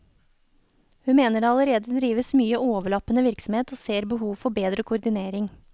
Hun mener det allerede drives mye overlappende virksomhet og ser behov for bedre koordinering.